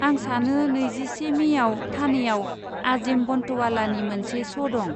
आं सानो नैजिसे मेयाव ठाणेयाव आजिम बन्टवालानि मोनसे श' दं।